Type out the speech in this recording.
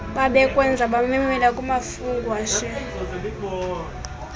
babekwenza bamamela kumafungwashe